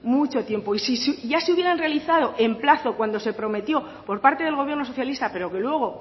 mucho tiempo y si ya se hubieran realizado en plazo cuando se prometió por parte del gobierno socialista pero que luego